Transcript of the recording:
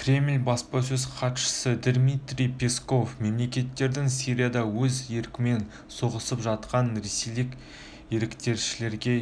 кремль баспасөз хатшысы дмитрий песков мемлекеттің сирияда өз еркімен соғысып жатқан ресейлік еріктілерге